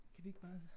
Kan vi ikke bare